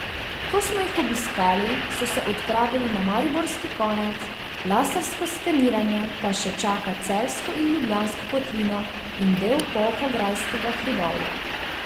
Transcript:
Ko smo jih obiskali, so se odpravili na mariborski konec, lasersko skeniranje pa še čaka celjsko in ljubljansko kotlino in del Polhograjskega hribovja.